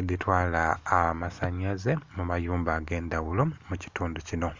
edhitwala amasanalaze mu mayumba ag'endhaghulo mu kitundu kino.